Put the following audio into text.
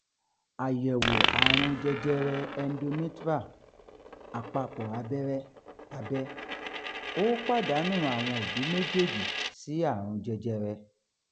àyẹ̀wò àrùn jẹjẹrẹ endometrial àpapọ̀ abẹ́rẹ́ abẹ́ ó pàdánù àwọn òbí méjèèjì sí àrùn jẹjẹrẹ